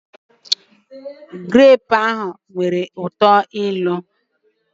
grape ahụ nwere uto ilu